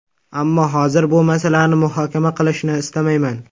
Ammo, hozir bu masalani muhokama qilishni istamayman.